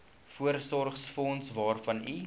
voorsorgsfonds waarvan u